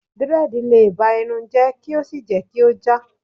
dread le ba Irun je ki o sí je ki o ja